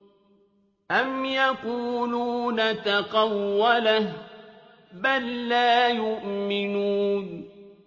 أَمْ يَقُولُونَ تَقَوَّلَهُ ۚ بَل لَّا يُؤْمِنُونَ